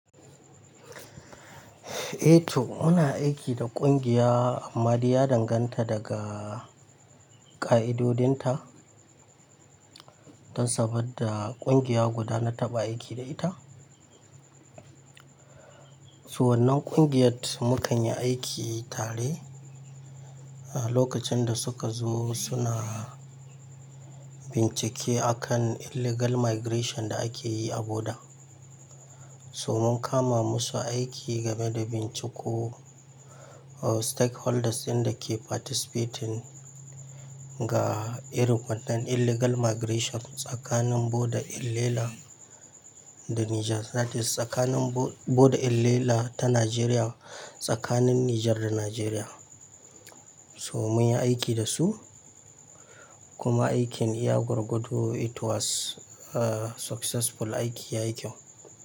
Eh to muna aiki da kungiya amma dai ya danganta daga ka'idodin ta. Dan saboda kungiya guda na taɓa aiki da ita. Su wannan kungiyar mukan yi aiki tare. Lokacin da suka zo suna bincike akan illegal migration da ake yi a boda. So mun kama musu aiki game da binciko stakeholders ɗin da ke participating ga irin wannan illegal migration tsakanin boda Ilela da Niger. Sadis tsakanin boda Ilela ta Najeriya tsakanin Niger da Najeriya. So mun yi aiki da su kuma aikin iya gorgodo it was successful aiki ya yi kyau.